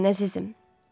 Doryan əzizim.